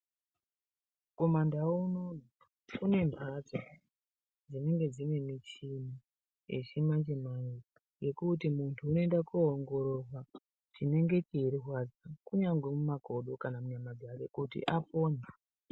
Kumandau unono kune mhatso dzinenge dzine michini yechimanje-manje. Yekuti muntu unoenda koongororwa chinenge cheirwadza kunyazi mumakodo kana munyama dzake kuti apone.